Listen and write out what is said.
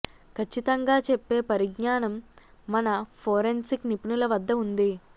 కచ్చితంగా చెప్పే పరిజ్ఞానం మన ఫోరెన్సిక్ నిపుణుల వద్ద ఉంది